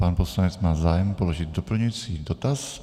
Pan poslanec má zájem položit doplňující dotaz.